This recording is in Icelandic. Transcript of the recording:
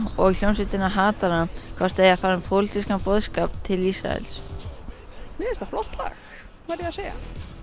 og hljómsveitina hvort þau eigi að fara með pólitískan boðskap til Ísraels mér finnst það flott lag verð ég að segja